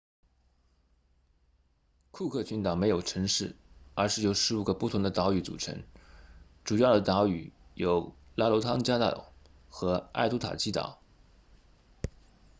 库克群岛没有城市而是由15个不同的岛屿组成主要的岛屿有拉罗汤加岛 rarotonga 和艾图塔基岛 aitutaki